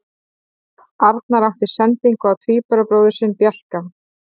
Arnar átti sendingu á tvíburabróðir sinn Bjarka.